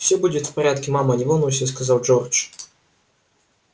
всё будет в порядке мама не волнуйся сказал джордж